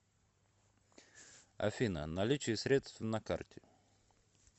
афина наличие средств на карте